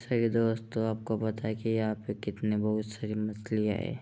दोस्तों आपको पता है की यहाँ पे कितनी बहुत सारी मछलियां हैं।